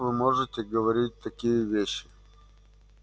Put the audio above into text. как вы можете говорить такие вещи